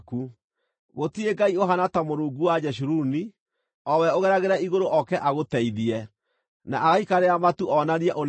“Gũtirĩ ngai ũhaana ta Mũrungu wa Jeshuruni, o we ũgeragĩra igũrũ oke agũteithie, na agaikarĩra matu onanie ũnene wake.